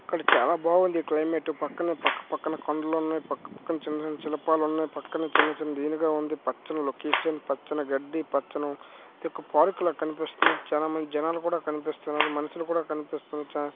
ఇక్కడ చాలా బాగుంది క్లైమేట్ పక్కనే పక్క పక్కన కొండలు ఉన్నాయి పక్కన చిన్న చిన్న శిల్పాలు ఉన్నాయి పక్కన చిన్న చిన్న ఉంది పచ్చని లొకేషన్ పచ్చని గడ్డి పచ్చని ఇది ఒక పార్క్ లా కనిపిస్తుంది చానా మంది జనాలు కూడా కనిపిస్తున్నారు మనుషులు కూడా కనిపిస్తున్నారు చా --